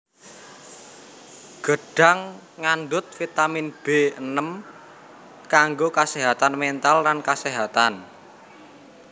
Gedhang ngandhut vitamin B enem kanggo kaséhatan méntal lan kaséhatan